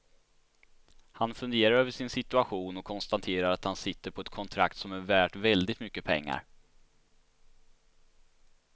Han funderar över sin situation och konstaterar att han sitter på ett kontrakt som är värt väldigt mycket pengar.